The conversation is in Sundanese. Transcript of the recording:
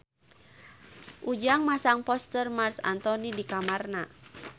Ujang masang poster Marc Anthony di kamarna